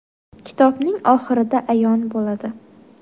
Kitobning oxirida ayon bo‘ladi.